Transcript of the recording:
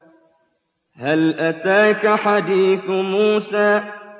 هَلْ أَتَاكَ حَدِيثُ مُوسَىٰ